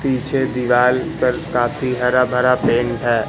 पीछे दीवाल पर काफी हरा भरा पेंट है।